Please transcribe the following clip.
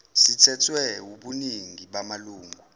sithethwe wubuningi bamalungu